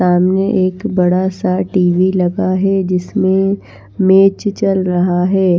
सामने एक बड़ा सा टी_वी लगा हैजिसमें मैच चल रहा है।